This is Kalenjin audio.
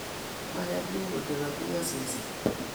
Ayani kole kobiony seset